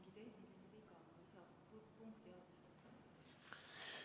Kuidas?